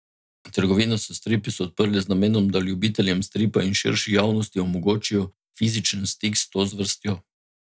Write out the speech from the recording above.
Trgovino s stripi so odprli z namenom, da ljubiteljem stripa in širši javnosti omogočijo fizičen stik s to zvrstjo.